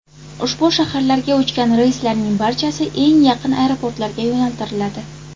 Ushbu shaharlarga uchgan reyslarning barchasi eng yaqin aeroportlarga yo‘naltiriladi.